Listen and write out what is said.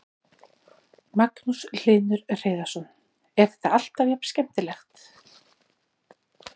Magnús Hlynur Hreiðarsson: Er þetta alltaf jafn skemmtilegt?